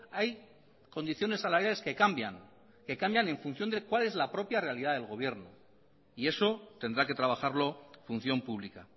hay condiciones salariales que cambian que cambian en función de cuál es la propia realidad del gobierno y eso tendrá que trabajarlo función pública